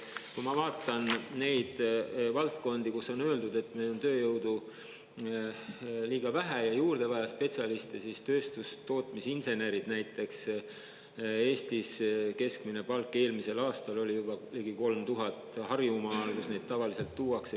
Kui ma vaatan neid valdkondi, kus on öeldud, et meil on tööjõudu liiga vähe ja juurde vaja spetsialiste, siis tööstus- ja tootmisinsenerid näiteks, Eestis keskmine palk eelmisel aastal oli juba ligi 3000 Harjumaal, kus neid tavaliselt tuuakse.